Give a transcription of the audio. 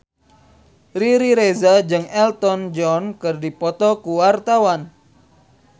Riri Reza jeung Elton John keur dipoto ku wartawan